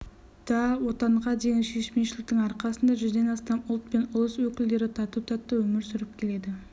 да отанға деген сүйіспеншіліктің арқасында жүзден астам ұлт пен ұлыс өкілдері тату-тәтті өмір сүріп келеді